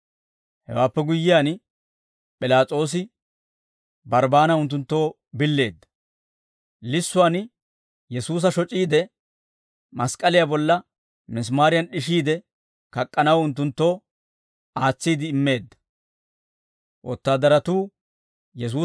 Hewaappe guyyiyaan, P'ilaas'oosi Barbbaana unttunttoo billeedda; lissuwaan Yesuusa shoc'iide, mask'k'aliyaa bolla misimaariyan d'ishiide kak'k'anaw unttunttoo aatsiide immeedda.